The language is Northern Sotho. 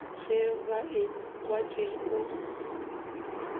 ge ba ekwa tšeo ba